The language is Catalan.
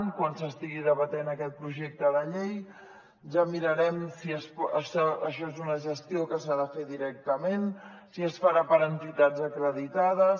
quan s’estigui debatent aquest projecte de llei ja mirarem si això és una gestió que s’ha de fer directament si es farà per entitats acreditades